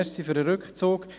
danke für den Rückzug.